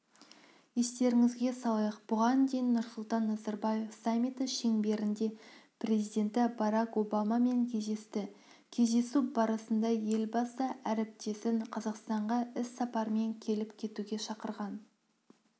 естеріңізге салайық бұған дейін нұрсұлтан назарбаев саммиті шеңберінде президенті барак обамамен кездесті кездесу барысында елбасы әріптесін қазақстанға іс-сапармен келіп кетуге шақырған